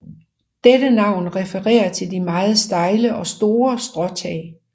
Dette navn refererer til de meget stejle og store stråtag